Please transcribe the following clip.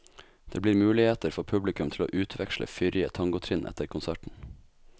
Det blir muligheter for publikum til å utveksle fyrrige tangotrinn etter konserten.